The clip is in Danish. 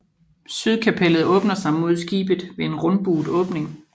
Sydkapellet åbner sig mod skibet ved en rundbuet åbning